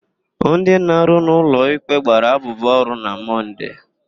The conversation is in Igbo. Ndị na-arụ n'ụlọikpe gbara abụbụ ọrụ na Mọnde.